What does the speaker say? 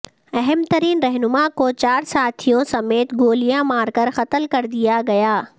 اہم ترین رہنما کو چار ساتھیوں سمیت گولیاں مار کر قتل کر دیا گیا